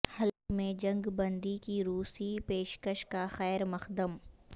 حلب میں جنگ بندی کی روسی پیشکش کا خیر مقدم